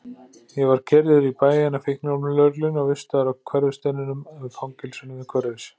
Ég var keyrður í bæinn af fíkniefnalögreglunni og vistaður í Hverfisteininum, fangelsinu við Hverfis